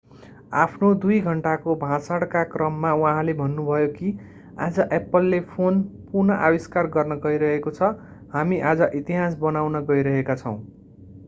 आफ्नो 2 घण्टाको भाषणका क्रममा उहाँले भन्नुभयो कि आज एप्पलले फोन पुनः आविष्कार गर्न गइरहेको छ हामी आज इतिहास बनाउन गइरहेका छौं